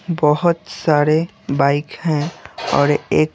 बहुत सारे बाइक हैं और एक--